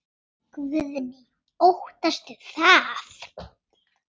Guðný: Óttastu það?